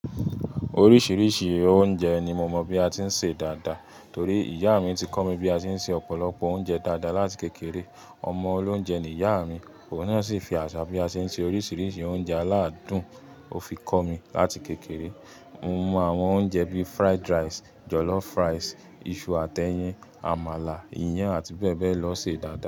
Oríṣiríṣi oúnjẹ ni mo mọ̀ bí a ti ń se dáadáa torí ìyá mi ti kọ́ mi bí a ti ń se ọ̀pọ̀lọpọ̀ oúnjẹ dáadáa láti kékeré. Ọmọ olóunjẹ ni ìyá mi, òun náà sì fi àṣà bí a ṣe ń se oríṣiríṣi oúnjẹ aládùn ó fi kọ́ mi láti kékeré. Mo mọ àwọn oúnjẹ bíi fried rice, jollof rice, iṣu àti ẹyin, àmàlà, iyán àti bẹ́ẹ̀ bẹ́ẹ̀ lọ ṣe dáadáa.